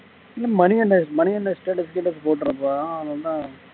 இல்ல மணிகண்டன் மணிகண்டன் status கீட்டஸ் போட்ற போறான் அவன் என்ன